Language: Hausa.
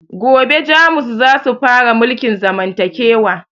Gobe jamus zasu fara mulkin zamantakewa